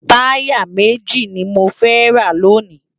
Tàyá méji ni mó fè rá lóni